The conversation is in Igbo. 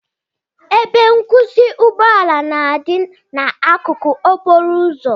Ebe nkwụsị ụgbọ ala na-adị n'akụkụ okporo ụzọ